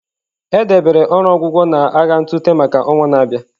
E debere ọrụ ọgwụgwọ na agha ntụte maka ọnwa na-abịa.